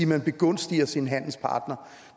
man begunstiger sin handelspartner